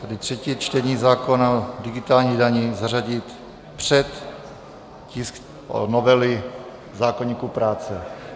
Takže třetí čtení zákona o digitální dani zařadit před tisk novely zákoníku práce.